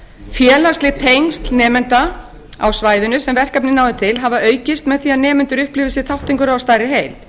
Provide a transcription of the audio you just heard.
félagsleg tengsl nemenda á svæðinu sem verkefnið náði til hafa aukist meðan nemendur upplifðu sem þátt af stærri heild